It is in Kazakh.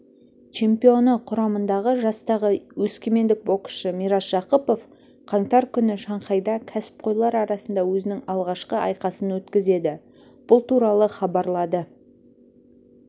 чемпионы құрамындағы жастағы өскемендік боксшы мирас жақыпов қаңтар күні шанхайда кәсіпқойлар арасында өзінің алғашқы айқасын өткізеді бұл туралы хабарлады